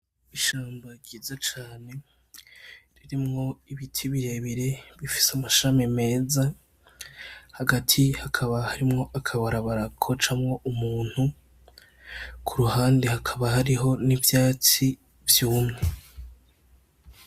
Ishamba ryiza cane ririmwo ibiti birebire , amashami meza hagati hakaba harimwo akabarabara gacamwo Umuntu ku ruhande hakaba hariho n’ivyatsi vyumye.